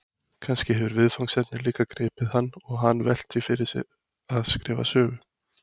Kannski hefur viðfangsefnið líka gripið hann og hann velt því fyrir sér að skrifa sögu?